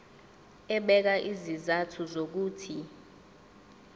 ebeka izizathu zokuthi